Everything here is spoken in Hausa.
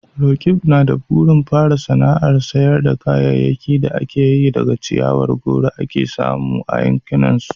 Roqeeb na da burin fara sana'ar sayar da kayayyakin da ake yi daga ciyawar goro da ake samu a yankinsa.